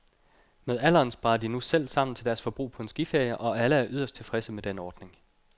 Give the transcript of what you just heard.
Med alderen sparer de nu selv sammen til deres forbrug på en skiferie, og alle er yderst tilfredse med den ordning.